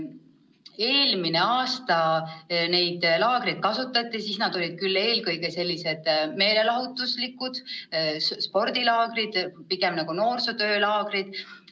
Eelmine aasta neid laagreid kasutati, aga siis olid need eelkõige sellised meelelahutuslikud ja spordilaagrid, pigem nagu noorsootöölaagrid.